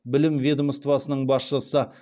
білім ведомствосының басшысы